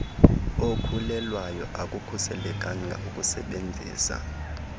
okhulelweyo akukhuselekanga ukusebenzisa